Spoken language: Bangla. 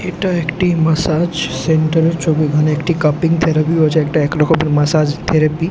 এটা একটি ম্যাসাজ সেন্টার - এর ছবি এখানে একটি কাপিং থেরাপি হচ্ছে একটা এক রকমের মাসাজ থেরাপি ।